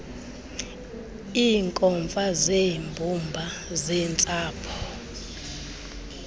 iinkomfa zeembumba zeentsapho